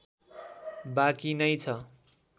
बाँकी नै छ